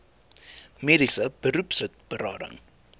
mediese beroepslid berading